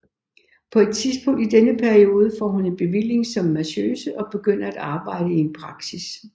På et tidspunkt i denne periode får hun en bevilling som massøse og begynder at arbejde i en praksis